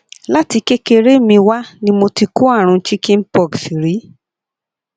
láti kékeré mi wá ni mo ti kó àrùn chicken pox rí